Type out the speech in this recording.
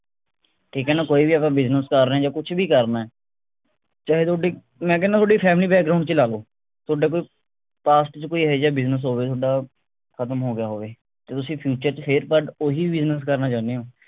ਠੀਕ ਹੈ ਨਾ ਕੋਈ ਵੀ ਅਗਰ business ਕਰ ਰਹੇ ਆ ਜਾਂ ਕੁਛ ਵੀ ਕਰਨੇ ਅ, ਚਾਹੇ ਥੋਡੀ ਮੈਂ ਕਹਿਣੇ ਥੋਡੀ family ਚ ਹੀ ਲਾ ਲਓ ਥੋਡਾ ਕੋਈ past ਚ ਕੋਈ ਇਹੈਜਾ business ਹੋਵੇ ਥੋਡਾ ਖਤਮ ਹੋ ਗਿਆ ਹੋਵੇ ਤਾਂ ਤੁਸੀਂ future ਚ ਫੇਰ but ਉਹੀ business ਕਰਨਾ ਚਹੁਣੇ ਹੋ